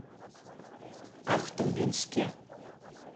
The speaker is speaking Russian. ахтубинске